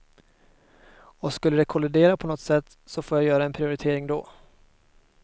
Och skulle det kollidera på något sätt, får jag göra en prioritering då.